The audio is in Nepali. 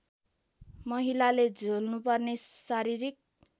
महिलाले झेल्नुपर्ने शारीरिक